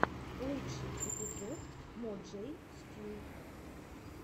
лучший эпизод мо джей стью